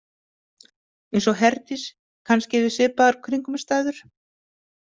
Eins og Herdís kannski við svipaðar kringumstæður.